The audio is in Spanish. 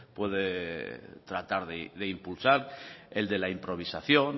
puede tratar de impulsar el de la improvisación